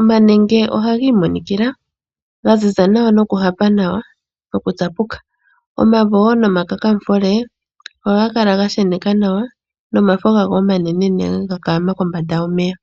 omanenge ohaga imonikila ga ziza nawa noku hapa nawa nokutsapuka . Omavo woo nomakakamufule ohaga kala ga sheneka nawa nawa nomafo gawo omanene kombanda yomeya